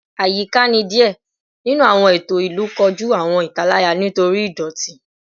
Ayika ni diẹ ninu awọn eto ilu koju awọn italaya nitori idoti